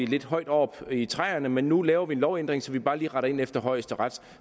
lidt højt oppe i træerne men nu laver vi en lovændring så vi bare lige retter ind efter højesteret